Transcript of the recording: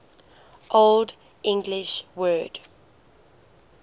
old english word